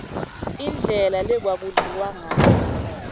indlela lekwaku dliwangayo